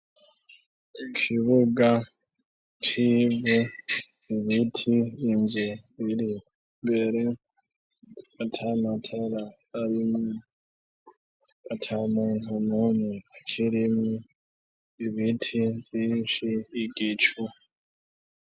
Ikibuga cibwe ibiti imve biri mbere matamatara arimwe ata muntu mune c'irimwe ibiti vyinshi igicu.